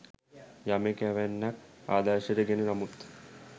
යමෙක් එවැන්නක් ආදර්ශයට ගෙන නමුත්